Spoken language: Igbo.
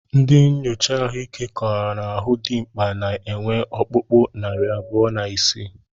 Ndị nchocha ahụike kọwara na ahụ dimkpa na-enwe ọkpụkpụ narị abụọ na isii